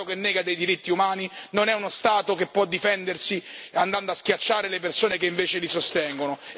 Uno Stato che nega dei diritti umani non è uno Stato che può difendersi andando a schiacciare le persone che invece li sostengono.